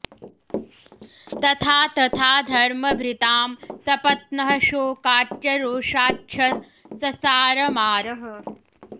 तथा तथा धर्मभृतां सपत्नः शोकाच्च रोषाच्छ ससार मारः